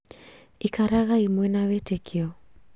Ikaragai mwina wĩtĩkio